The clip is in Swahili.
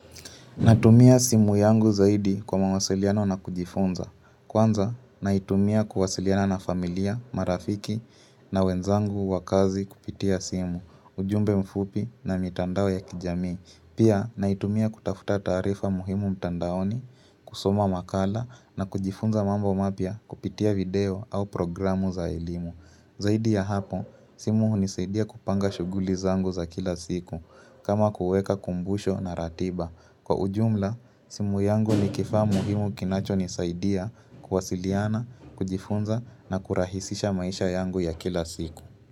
Natumia simu yangu zaidi kwa mawasiliano na kujifunza. Kwanza, naitumia kuwasiliana na familia, marafiki na wenzangu wa kazi kupitia simu, ujumbe mfupi na mitandao ya kijamii. Pia, naitumia kutafuta tarifa muhimu mtandaoni, kusoma makala na kujifunza mambo mapya kupitia video au programu za elimu. Zaidi ya hapo, simu unisaidia kupanga shughuli zangu za kila siku kama kuweka kumbusho na ratiba. Kwa ujumla, simu yangu ni kifaa muhimu kinacho nisaidia kuwasiliana, kujifunza na kurahisisha maisha yangu ya kila siku.